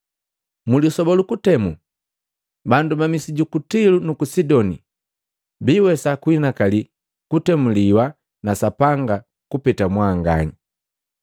Mlisoba luku kutemu, bandu ba misi juku Tilo nuku Sidoni biiwesa kunhinakali kutemuliwa na Sapanga kupeta mwanganya.